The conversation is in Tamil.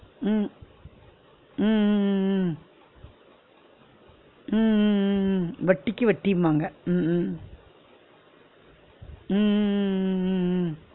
உம் உம் உம் உம் உம் உம் உம் உம் உம் வட்டிக்கு வட்டிம்பாங்க உம் உம் உம் உம் உம் உம் உம்